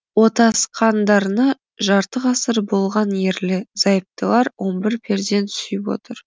отасқандарына жарты ғасыр болған ерлі зайыптылар он бір перзент сүйіп отыр